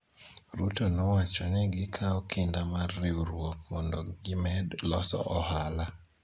Ruto nowacho ni gikawo kinda mar riwruok mondo gimed loso ohala